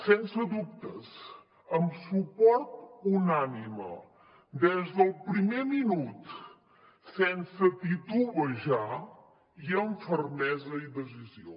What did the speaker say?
sense dubtes amb suport unànime des del primer minut sense titubejar i amb fermesa i decisió